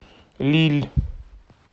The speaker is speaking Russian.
лилль